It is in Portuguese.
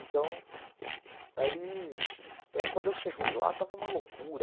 Então, aí aí quando eu cheguei lá, estava uma loucura.